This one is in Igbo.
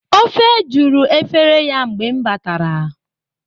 Ofe juru efere ya mgbe m batara.